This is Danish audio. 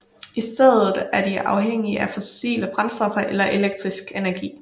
I stedet er de afhængige af fossile brændstoffer eller elektrisk energi